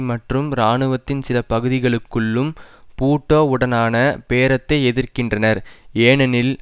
மற்றும் இராணுவத்தின் சில பகுதிகளுக்குள்ளும் பூட்டோவுடனான பேரத்தை எதிர்க்கின்றனர் ஏனெனில்